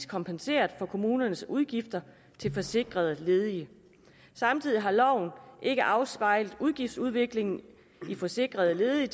kompenseret for kommunernes udgifter til forsikrede ledige samtidig har loven ikke afspejlet udgiftsudviklingen i forsikrede ledige